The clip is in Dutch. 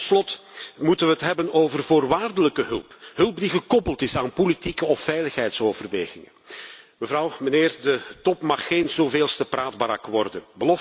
En tot slot moeten we het hebben over voorwaardelijke hulp hulp die gekoppeld is aan politieke of veiligheidsoverwegingen. De top mag geen zoveelste praatbarak worden.